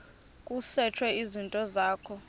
kusetshwe izinto zakho